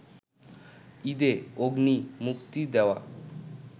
ঈদে 'অগ্নি' মুক্তি দেওয়া